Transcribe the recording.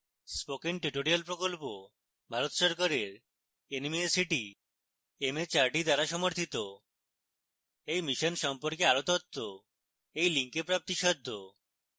spoken tutorial প্রকল্প ভারত সরকারের nmeict mhrd দ্বারা সমর্থিত এই mission সম্পর্কে আরো তথ্য এই link প্রাপ্তিসাধ্য